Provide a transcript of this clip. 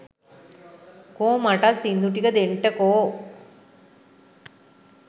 කෝ මටත් සිංදු ටික දෙන්ටකො!